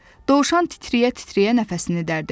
Dovşan titrəyə-titrəyə nəfəsini dərdi.